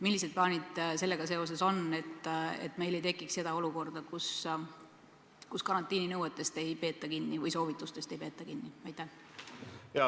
Millised plaanid sellega seoses on, et meil ei tekiks olukorda, kus karantiininõuetest või -soovitustest ei peeta kinni?